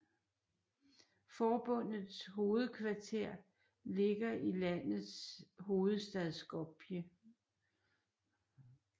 Forbundets hovedkvarter ligger i landets hovedstad Skopje